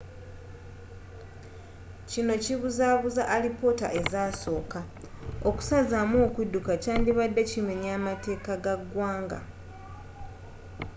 kino kibuzabuza alipoota ezasooka okusazamu okudduka kyandibadde kimenya mateeka ga ggwanga